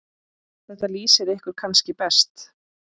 Þetta lýsir ykkur kannski best.